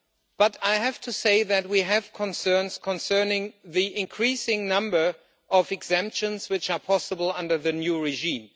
But I have to say that we have concerns concerning the increasing number of exemptions which are possible under the new regime.